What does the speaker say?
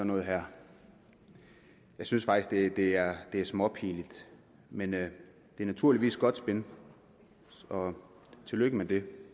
noget her jeg synes faktisk det er småpinligt men det er naturligvis godt spin så tillykke med det